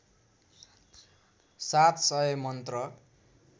सात सय मन्त्र